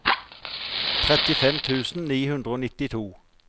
trettifem tusen ni hundre og nittito